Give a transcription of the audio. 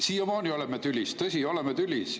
Siiamaani oleme tülis – tõsi, oleme tülis.